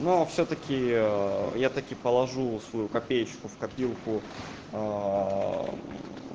но всё-таки я таки положу свою копеечку в копилку